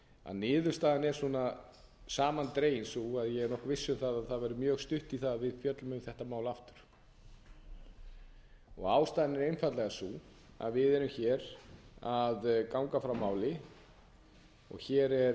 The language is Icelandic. niðurstaðan er samandregin sú að ég er nokkuð viss um að það verður mjög stutt í það að við fjöllum um þetta mál aftur ástæðan er einfaldlega sú að við erum hér að ganga frá máli og hér